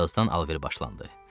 Birazdan alver başlandı.